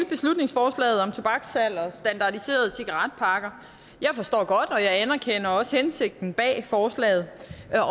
beslutningsforslaget om tobakssalg og standardiserede cigaretpakker jeg forstår det og jeg anerkender også hensigten bag forslaget